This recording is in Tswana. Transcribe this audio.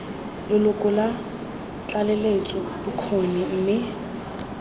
leloko la tlaleletso bokgoni mme